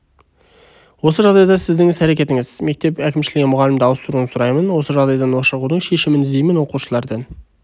осы жағдайда сіздің іс әрекетіңіз мектеп әкімшілігінен мұғалімді ауыстыруын сұраймын осы жағдайдан шығудың шешімін іздеймін оқушылардан